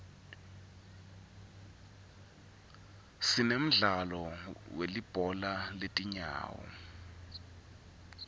sinemdzalo welibhola letingawo